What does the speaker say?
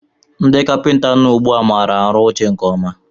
Ndị kapinta nọ ugbu a maara arụ oche nke ọma